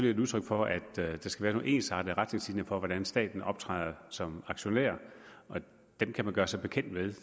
et udtryk for at der skal være nogle ensartede retningslinjer for hvordan staten optræder som aktionær dem kan man gøre sig bekendt med og